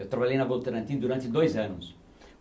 Eu trabalhei na Votorantim durante dois anos.